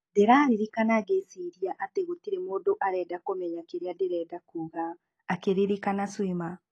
Ndĩraririkana ngĩciria atĩ gũtirĩ mũndu arenda kũmenya kĩrĩa ndĩrenda kuga, akĩririkana Swima.